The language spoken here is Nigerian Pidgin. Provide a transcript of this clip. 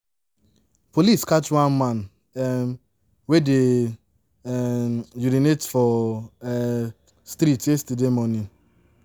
Police catch one man um wey dey um urinate for um street yesterday morning